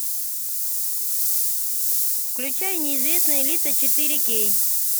включай неизвестные лица четыре кей